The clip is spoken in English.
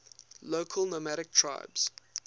local nomadic tribes